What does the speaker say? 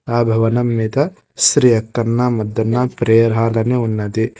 ఆ భవనం మీద శ్రీ అక్కన్న మద్దన్న ప్రేయర్ హాల్ అని ఉన్నది.